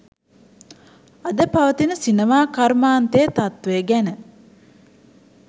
අද පවතින සිනමා කර්මාන්තයේ තත්ත්වය ගැන